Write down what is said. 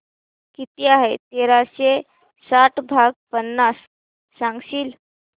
किती आहे तेराशे साठ भाग पन्नास सांगशील